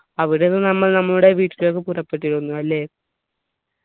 അവിടുന്ന് നമ്മൾ നമ്മുടെ വീട്ടിലേക്ക് പുറപ്പെട്ടിരുന്നു അല്ലെ